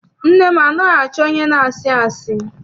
Nne m anaghị achọ onye na-asị asị.